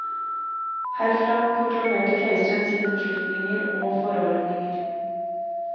Herfra proklamerte keiseren sine beslutninger og forordninger.